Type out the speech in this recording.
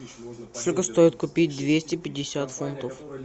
сколько стоит купить двести пятьдесят фунтов